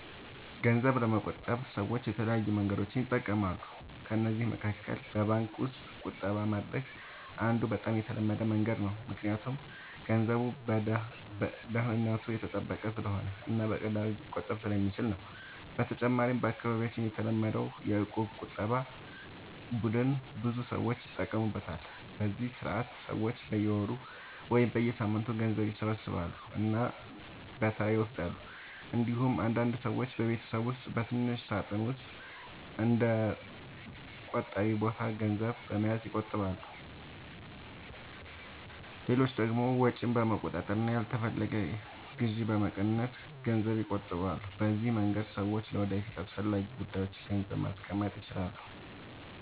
ገንዘብ ለመቆጠብ ሰዎች የተለያዩ መንገዶችን ይጠቀማሉ። ከእነዚህ መካከል በባንክ ውስጥ ቁጠባ ማድረግ አንዱ በጣም የተለመደ መንገድ ነው፣ ምክንያቱም ገንዘቡ ደህንነቱ የተጠበቀ ስለሆነ እና በቀላሉ ሊቆጠብ ስለሚችል ነው። በተጨማሪም በአካባቢያችን የተለመደው የእቁብ ቁጠባ ቡድን ብዙ ሰዎች ይጠቀሙበታል፤ በዚህ ስርዓት ሰዎች በየወሩ ወይም በየሳምንቱ ገንዘብ ይሰበስባሉ እና በተራ ይወስዳሉ። እንዲሁም አንዳንድ ሰዎች በቤት ውስጥ በትንሽ ሳጥን ወይም በእንደ “ቆጣቢ ቦታ” ገንዘብ በመያዝ ይቆጥባሉ። ሌሎች ደግሞ ወጪን በመቆጣጠር እና ያልተፈለገ ግዢ በመቀነስ ገንዘብ ይቆጥባሉ። በዚህ መንገድ ሰዎች ለወደፊት አስፈላጊ ጉዳዮች ገንዘብ ማስቀመጥ ይችላሉ።